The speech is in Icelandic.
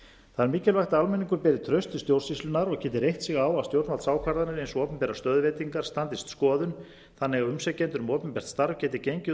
það er mikilvægt að almenningur beri traust til stjórnsýslunnar og geti reitt sig á að stjórnvaldsákvarðanir eins og opinberar stöðuveitingar standist skoðun þannig að umsækjendur um opinbert starf geti gengið út